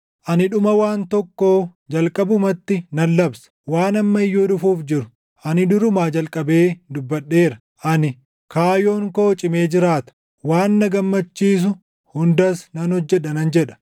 Ani dhuma waan tokkoo jalqabumatti nan labsa; waan amma iyyuu dhufuuf jiru, ani durumaa jalqabee dubbadheera. Ani, ‘Kaayoon koo cimee jiraata; waan na gammachiisu hundas nan hojjedha’ nan jedha.